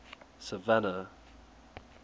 savannah